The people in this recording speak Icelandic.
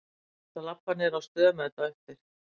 Ég ætla að labba niður á stöð með þetta á eftir.